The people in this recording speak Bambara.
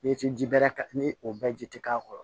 I tɛ ji bɛrɛ ka ni o bɛɛ ji tɛ k'a kɔrɔ